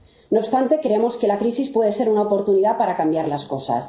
No obstante, creemos que la crisis puede ser una oportunidad para cambiar las cosas.